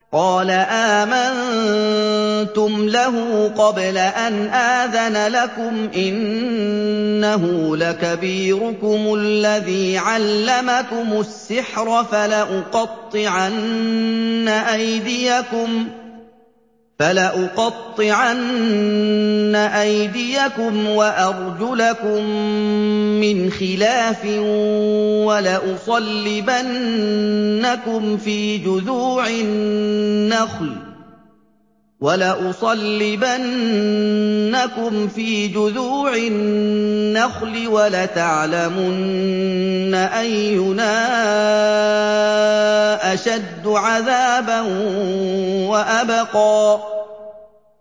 قَالَ آمَنتُمْ لَهُ قَبْلَ أَنْ آذَنَ لَكُمْ ۖ إِنَّهُ لَكَبِيرُكُمُ الَّذِي عَلَّمَكُمُ السِّحْرَ ۖ فَلَأُقَطِّعَنَّ أَيْدِيَكُمْ وَأَرْجُلَكُم مِّنْ خِلَافٍ وَلَأُصَلِّبَنَّكُمْ فِي جُذُوعِ النَّخْلِ وَلَتَعْلَمُنَّ أَيُّنَا أَشَدُّ عَذَابًا وَأَبْقَىٰ